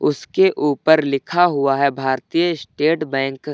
उसके ऊपर लिखा हुआ है भारतीय स्टेट बैंक ।